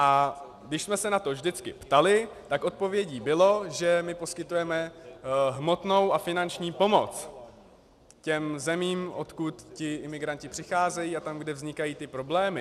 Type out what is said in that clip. A když jsme se na to vždycky ptali, tak odpovědí bylo, že my poskytujeme hmotnou a finanční pomoc těm zemím, odkud ti imigranti přicházejí, a tam, kde vznikají ty problémy.